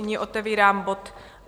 Nyní otevírám bod